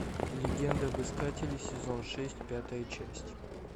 легенда об искателе сезон шесть пятая часть